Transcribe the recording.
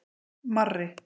Marri